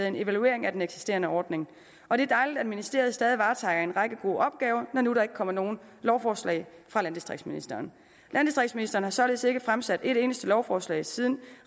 en evaluering af den eksisterende ordning og det er dejligt at ministeriet stadig varetager en række gode opgaver når nu der ikke kommer nogen lovforslag fra landdistriktsministeren landdistriktsministeren har således ikke fremsat et eneste lovforslag siden